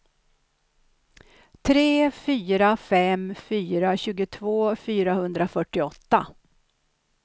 tre fyra fem fyra tjugotvå fyrahundrafyrtioåtta